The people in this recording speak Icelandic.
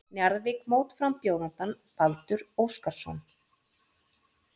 Njarðvík mótframbjóðandann Baldur Óskarsson.